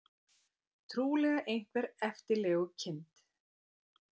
Trúlega einhver eftirlegukind.